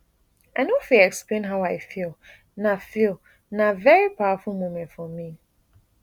i no fit explain how i feel na feel na veri powerful moment for me